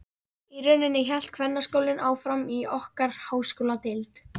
Í rauninni hélt kvennaskólinn áfram í okkar háskóladeild.